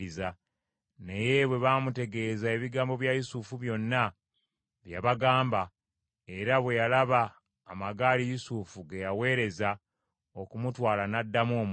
Naye bwe baamutegeeza ebigambo bya Yusufu byonna bye yabagamba, era bwe yalaba amagaali Yusufu ge yaweereza okumutwala n’addamu omwoyo;